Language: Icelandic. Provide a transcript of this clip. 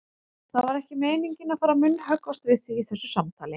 Það var ekki meiningin að fara að munnhöggvast við þig í þessu samtali.